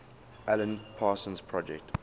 alan parsons project